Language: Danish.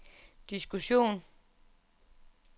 diskussion